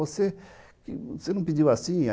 Você não pediu assim?